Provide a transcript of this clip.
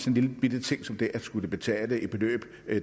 en lillebitte ting som det at skulle betale et beløb